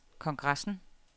kongressen